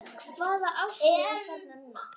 Hvaða árstíð er þarna núna?